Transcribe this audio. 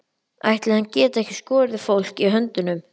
Ætli hann geti ekki skorið fólk í höndunum.